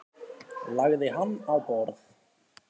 Lagði hann á borð.